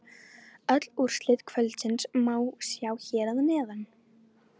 Öll úrslit kvöldsins má sjá hér að neðan